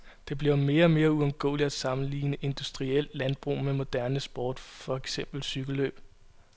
Det bliver mere og mere uundgåeligt at sammenligne industrielt landbrug med moderne sport, for eksempel cykellløb.